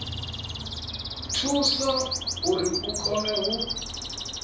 thusa uri hu kone u